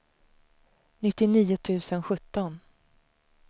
nittionio tusen sjutton